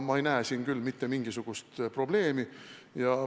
Ma ei näe siin küll mitte mingisugust probleemi.